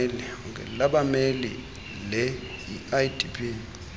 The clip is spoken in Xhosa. labameli le idp